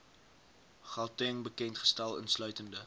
gauteng bekendgestel insluitende